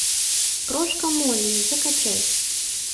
крошка молли закачай